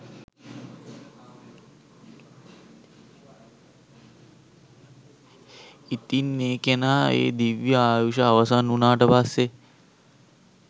ඉතින් ඒ කෙනා ඒ දිව්‍ය ආයුෂ අවසන් වුනාට පස්සේ